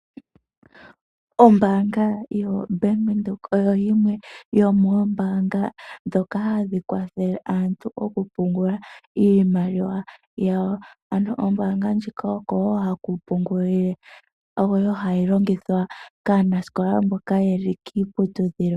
Ombaanga yo Bank Windhoek oyo yimwe yomoombanga ndhoka hadhi kwathele aantu oku pungula iimaliwa yawo. Ano ombanga ndjika okowo haku pungulile aanasikola mboka yeli kiiputudhilo.